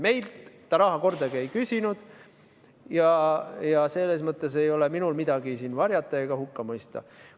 Meilt ta raha kordagi ei küsinud ja selles mõttes ei ole minul siin midagi varjata ega hukka mõista.